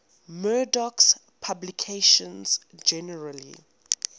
murdoch's publications generally